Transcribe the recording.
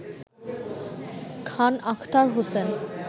Khan Akhtar Hossain